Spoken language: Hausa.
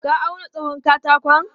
Ka auna tsawon katakon?